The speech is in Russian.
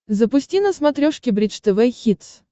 запусти на смотрешке бридж тв хитс